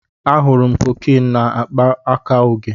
Ahụrụ m cocaine na akpa aka Oge.